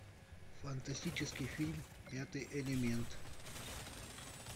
фантастический фильм пятый элемент